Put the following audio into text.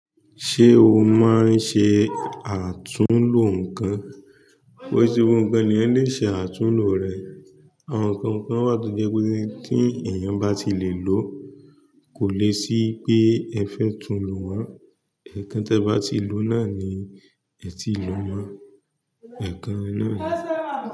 Ṣé o máa ń ṣe àtúnlo nǹkan? Ko yi se gbogbo ǹkan ni eeyan lè ṣe àtúnlo rẹ̀. Àwọn ǹkankan wà tó jẹ́ pé tí èèyàn bá ti lè lòó, kò le ṣí pé ẹ fẹ́ túnlo maa. Ẹ̀ẹ̀kan tí ẹ bá ti lò náà ni ẹ ti lò mọ́. Ẹ̀ẹ̀kan náà ni.